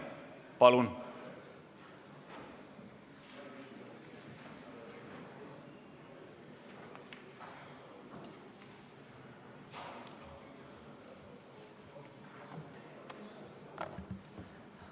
Palun!